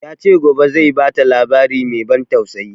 Ya ce gobe zai bata labari mai ban tausayi